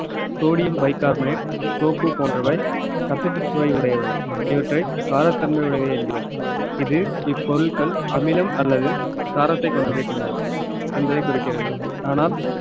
sodium bicarbonate soap போன்றவை கசப்புச் சுவை உடையவை இவற்றை காரத்தன்மை உடையவை என்கிறோம் இது இப்பொருட்கள் அமிலம் அல்லது காரத்தை கொண்டிருக்கின்றன என்பதை குறிக்கிறது ஆனால்